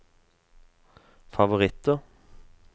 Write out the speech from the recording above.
favoritter